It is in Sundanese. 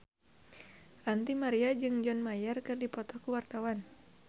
Ranty Maria jeung John Mayer keur dipoto ku wartawan